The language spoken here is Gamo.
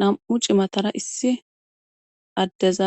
nam7u cimatara issi addeza